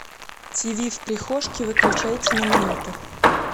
тиви в прихожке выключайте на минуту